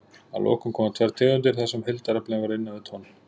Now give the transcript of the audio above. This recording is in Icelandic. Að lokum koma tvær tegundir þar sem heildaraflinn var innan við tonn.